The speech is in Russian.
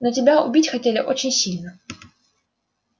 но тебя убить хотели очень сильно